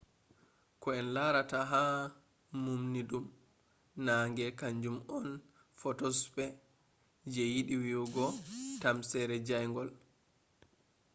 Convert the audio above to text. ko en larata ha mumnidum naange kanjum on photosphere je yiɗi wi'ugo tamsere jayngol